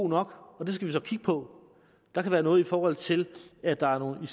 nok og det skal vi så kigge på der kan være noget i forhold til at der er nogle